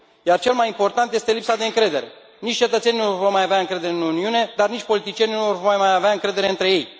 Iar cel mai important este lipsa de încredere, nici cetățenii nu vor mai avea încredere în Uniune, dar nici politicienii nu vor mai avea încredere între ei.